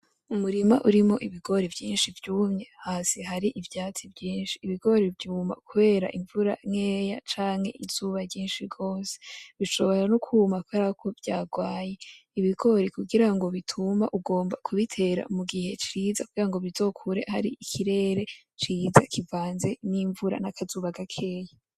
Umurima urimo ibigori vyinshi vyumye, hasi hari ivyatsi vyinshi. Ibigori vyuma kubera imvura nkeya canke izuba ryinshi gose, bishobora no kuma kubera ko vyagwaye, ibigori kugira bituma ugomba kubitera mu gihe ciza kugira ngo bizokure hari ikirere ciza kivanze n'imvura; n'akazuba gakeya.